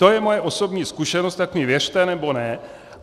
To je moje osobní zkušenost, tak mi věřte, nebo ne.